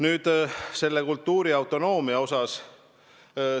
Nüüd kultuuriautonoomiast.